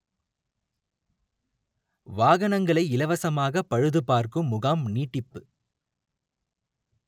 வாகனங்களை இலவசமாக பழுது பார்க்கும் முகாம் நீட்டிப்பு